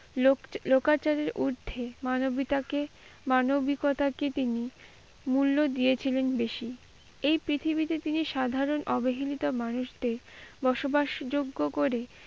লোক লোকাচারের ঊর্ধ্বে মানবতাকে মানবিকতাকে তিনি মূল্য দিয়েছিলেন বেশি। এই প্রথিবীতে সাধারণ অবহেলিত মানুষদের বসবাস যোগ্য করে।